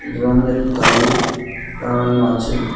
এবং এ তাঁবু টাঙানো আচে।